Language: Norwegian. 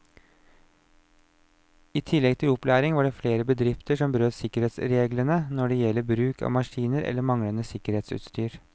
I tillegg til opplæring var det flere bedrifter som brøt sikkerhetsreglene når det gjelder bruk av maskiner eller manglende sikkerhetsutstyr.